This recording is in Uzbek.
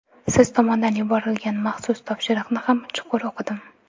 Siz tomondan yuborilgan maxsus topshiriqni ham chuqur o‘qidim.